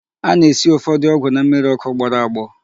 A na-esi ụfọdụ ọgwụ na mmịrị ọkụ gbọrọ agbọ.